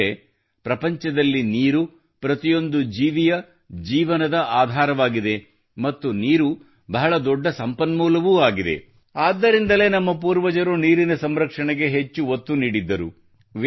ಅಂದರೆ ಪ್ರಪಂಚದಲ್ಲಿ ನೀರು ಪ್ರತಿಯೊಂದು ಜೀವಿಯ ಜೀವನದ ಆಧಾರವಾಗಿದೆ ಮತ್ತು ನೀರು ಬಹಳ ದೊಡ್ಡ ಸಂಪನ್ಮೂಲವೂ ಆಗಿದೆ ಆದ್ದರಿಂದಲೇ ನಮ್ಮ ಪೂರ್ವಜರು ನೀರಿನ ಸಂರಕ್ಷಣೆಗೆ ಹೆಚ್ಚು ಒತ್ತು ನೀಡಿದ್ದರು